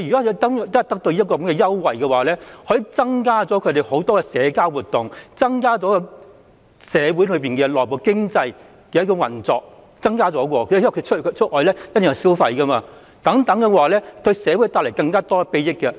如果他們能夠享用有關優惠，他們便可以更常參與社交活動，從而加強社會內部的經濟運作，因為他們出行時一定會消費，這亦會為社會帶來更大裨益。